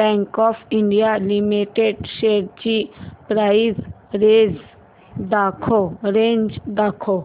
bank of India limited shares ची price range दाखव